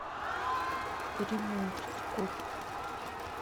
приморску